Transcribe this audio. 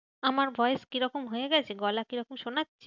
আমার voice কি রকম হয়ে গেছে, গলা কিরকম শোনাচ্ছে।